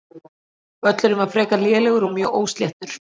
Völlurinn var frekar lélegur og mjög ósléttur.